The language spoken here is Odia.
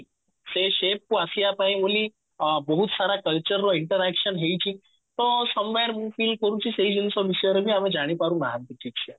ସେ shape କୁ ଆସିବା ପାଇଁ ବୋଲି ଅ ବଉତ ସାରା culture ର interaction ହେଇଛି ତ some where ମୁଁ feel କରୁଛି ସେଇ ଜିନିଷ ବିଷୟରେ ବି ଆମେ ଜାଣିପାରୁ ନାହାନ୍ତି କିଛି